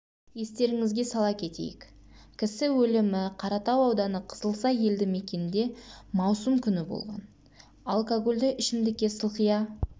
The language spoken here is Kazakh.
естеріңізге сала кетейік кісі өлімі қаратау ауданы қызылсай елді мекенінде маусым күні болған алкогольді ішімдікке сылқия